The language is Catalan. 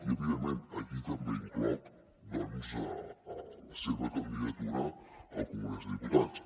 i evidentment aquí també incloc doncs la seva candidatura al congrés dels diputats